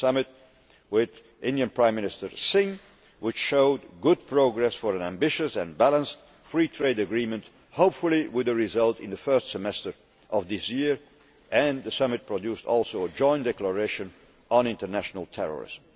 and the summit with Prime Minister Singh of India, which showed good progress for an ambitious and balanced free trade agreement, hopefully with a result in the first semester of this year, and which also produced a joint declaration on international terrorism.